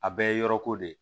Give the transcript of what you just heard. A bɛɛ ye yɔrɔ ko de ye